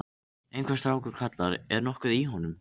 Einhver strákur kallar: Er nokkuð í honum